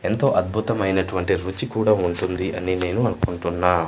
ఎంతో అద్భుతమైనటువంటి రుచి కూడా ఉంటుంది అని నేను అనుకుంటున్నా.